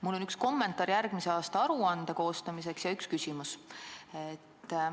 Mul on üks kommentaar järgmise aasta aruande koostamiseks ja üks küsimus.